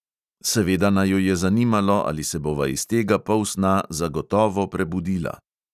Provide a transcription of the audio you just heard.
Seveda naju je zanimalo, ali se bova iz tega polsna zagotovo prebudila.